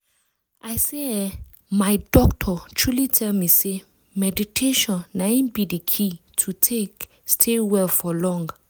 i say eeh my doctor truely tell me say meditation na in be the key to take stay well for long.